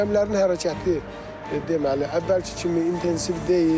Gəmilərin hərəkəti deməli, əvvəlki kimi intensiv deyil.